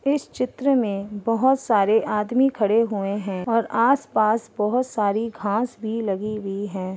इस चित्र में बहोत सारे आदमी खड़े हुए हैं और आस पास बहोत सारी घास भी लगी हुई है।